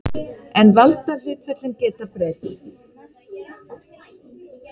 En valdahlutföllin geta breyst.